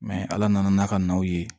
ala nana n'a ka naw ye